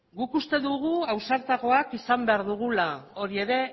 guk uste dugu ausartagoak izan behar dugula hori ere